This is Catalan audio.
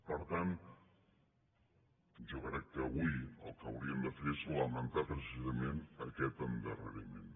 per tant jo crec que avui el que hauríem de fer és lamentar precisament aquest endarreriment